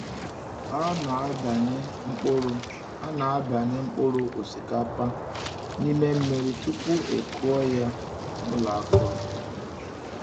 A na-ebanye mkpụrụ A na-ebanye mkpụrụ osikapa n’ime mmiri tupu e kụọ ya n’ụlọ akụrụ.